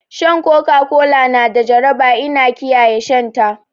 Shan Coca Cola na da jaraba ina kiyaye shan ta